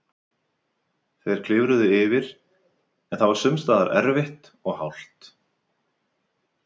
Þeir klifruðu yfir, en það var sums staðar erfitt og hált.